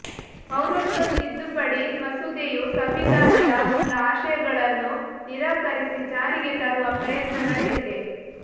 ಪೌರತ್ವ ತಿದ್ದುಪಡಿ ಮಸೂದೆಯು ಸಂವಿಧಾನದ ಮೂಲ ಆಶಯಗಳನ್ನು ನಿರಾಕರಿಸಿ ಜಾರಿಗೆ ತರುವ ಪ್ರಯತ್ನ ನಡೆದಿದೆ